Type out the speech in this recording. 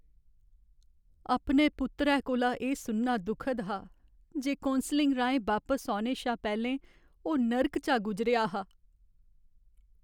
अपने पुत्तरै कोला एह् सुनना दुखद हा जे कौंसलिङ राहें बापस औने शा पैह्लें ओह् नर्क चा गुजरेआ हा।